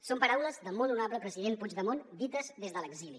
són paraules del molt honorable president puigdemont dites des de l’exili